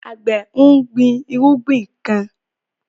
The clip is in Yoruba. Àgbẹ̀ ń gbin irúgbìn kan